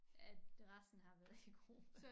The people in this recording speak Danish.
Alt resten har været i gruppe